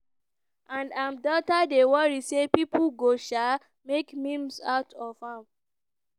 and im daughter dey worry say pipo go um make memes out of am.